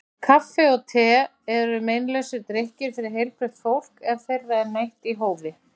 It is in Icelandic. Kaffi og te eru meinlausir drykkir fyrir heilbrigt fólk ef þeirra er neytt í hófi.